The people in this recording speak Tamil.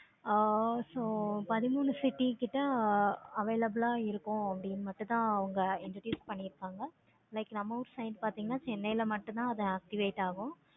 ஆஹ் so பதிமூணு city கிட்ட available ஆஹ் இருக்கும். அப்படின்னு மட்டும் தான் அவங்க introduce பண்ணிருக்காங்க. நம்ம ஊரு side பார்த்தீங்கன்னா chennai ல மட்டும் தான் அது activate ஆகும்.